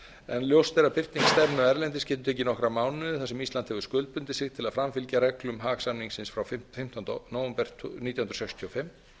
ljóst er að birting stefnu erlendis getur tekið nokkra mánuði þar sem ísland hefur skuldbundið sig til að framfylgja reglum haag samningsins frá fimmtánda nóvember nítján hundruð sextíu og fimm